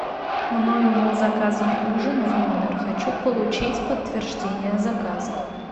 мною был заказан ужин в номер хочу получить подтверждение заказа